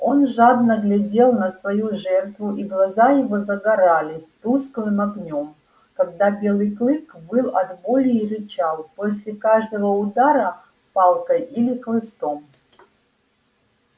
он жадно глядел на свою жертву и глаза его загорались тусклым огнём когда белый клык выл от боли и рычал после каждого удара палкой или хлыстом